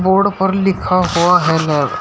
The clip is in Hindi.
बोर्ड पर लिखा हुआ है लैब ।